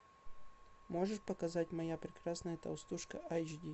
можешь показать моя прекрасная толстушка айч ди